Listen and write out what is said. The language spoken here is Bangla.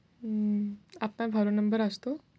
উম আপনার ভালো number আসত?